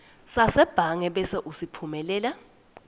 sasebhange bese usitfumelela